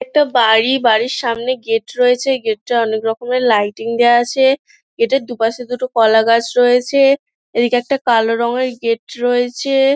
একটা বাড়ি বাড়ির সামনে গেট রয়েছে। গেট টায় অনেক রকমের লাইটিং দেওয়া আছে। গেট এর দুপাশে দুটো কলা গাছ রয়েছে এদিকে একটা কালো রঙের গেট রয়েছে।